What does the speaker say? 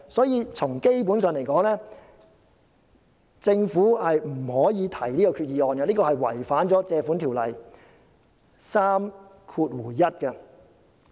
因此，基本上來說，政府不可提出這項決議案，因為決議案違反了《借款條例》第31條。